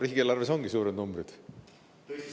Riigieelarves ongi suured numbrid.